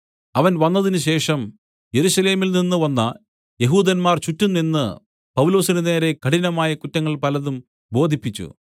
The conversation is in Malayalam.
അവൻ വന്നതിനുശേഷം യെരൂശലേമിൽനിന്ന് വന്ന യെഹൂദന്മാർ ചുറ്റും നിന്ന് പൗലൊസിന് നേരെ കഠിനമായ കുറ്റങ്ങൾ പലതും ബോധിപ്പിച്ചു